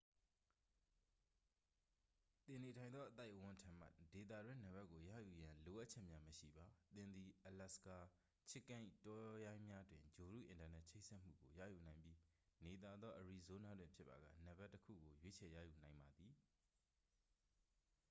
သင်နေထိုင်သောအသိုက်အဝန်းထံမှ ဒေသတွင်းနံပါတ်ကိုရယူရန် လိုအပ်ချက်များမရှိပါ သင်သည် အလာစကာ chicken ၏တောရိုင်းများတွင် ဂြိုလ်တုအင်တာနက်ချိတ်ဆက်မှုကို ရယူနိုင်ပြီး နေသာသောအရီဇိုးနားတွင်ဖြစ်ပါက နံပါတ်တစ်ခုကို ရွေးချယ်ရယူနိုင်ပါသည်